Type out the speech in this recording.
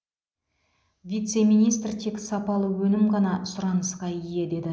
вице министр тек сапалы өнім ғана сұранысқа ие деді